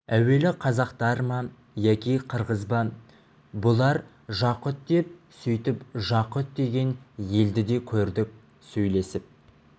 әуелі қазақтар ма яки қырғыз ба бұлар жақұт деп сөйтіп жақұт деген елді де көрдік сөйлесіп